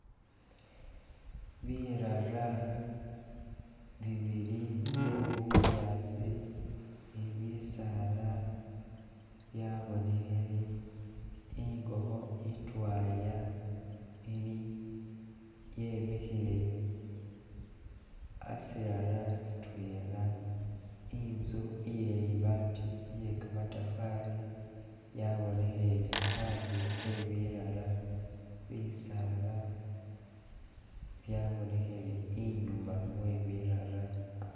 Birara bibili bye bunyaasi ne bisaala bya bonekhele, ingokho itwaya, ili yemikhile a sirara sitwela, inzu iye libaati iye kamatafaali yabonekhele andulo e birara bisaala byabonekhele inyuma ibirara.